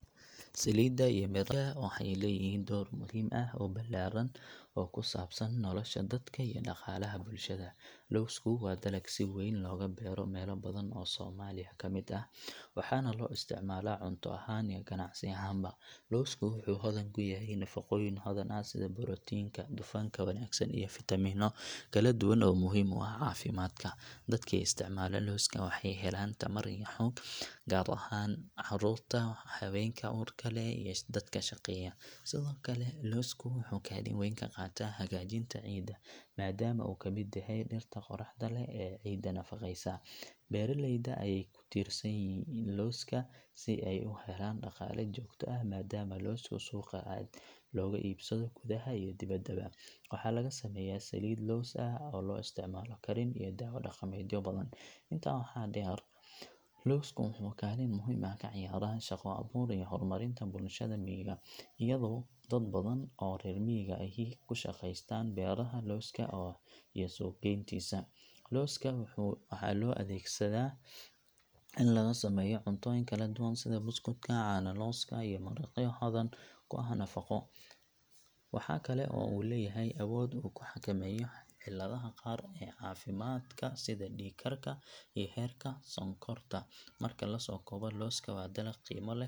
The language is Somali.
Saliidda iyo miraha lowska waxay leeyihiin door muhiim ah oo ballaaran oo ku saabsan nolosha dadka iyo dhaqaalaha bulshada. Lowsku waa dalag si weyn looga beero meelo badan oo Soomaaliya ka mid ah, waxaana loo isticmaalaa cunto ahaan iyo ganacsi ahaanba. Lowsku wuxuu hodan ku yahay nafaqooyin badan sida borotiinka, dufanka wanaagsan, iyo fitamiino kala duwan oo muhiim u ah caafimaadka. Dadka isticmaala lowska waxay helaan tamar iyo xoog, gaar ahaan carruurta, haweenka uurka leh, iyo dadka shaqeeya. Sidoo kale, lowsku wuxuu kaalin weyn ka qaataa hagaajinta ciidda, maadaama uu ka mid yahay dhirta qodaxda leh ee ciidda nafaqeysa. Beeraleyda ayaa ku tiirsan lowska si ay u helaan dhaqaale joogto ah maadaama lowsku suuqa aad looga iibsado gudaha iyo dibadda. Waxa laga sameeyaa saliid lows ah oo loo isticmaalo karin iyo daawo dhaqameedyo badan. Intaa waxaa dheer, lowsku wuxuu kaalin muhiim ah ka ciyaaraa shaqo abuur iyo horumarinta bulshooyinka miyiga, iyadoo dad badan oo reer miyiga ahi ay ku shaqeystaan beeraha lowska iyo suuqgeyntiisa. Lowska waxaa loo adeegsadaa in lagu sameeyo cuntooyin kala duwan sida buskudka, caano lowska, iyo maraqyo hodan ku ah nafaqo. Waxaa kale oo uu leeyahay awood uu ku xakameeyo cilladaha qaar ee caafimaadka sida dhiig karka iyo heerka sonkorta. Marka la soo koobo, lowsku waa dalag qiimo leh oo.